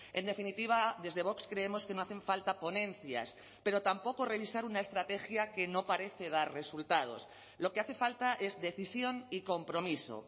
en definitiva desde vox creemos que no hacen falta ponencias pero tampoco revisar una estrategia que no parece dar resultados lo que hace falta es decisión y compromiso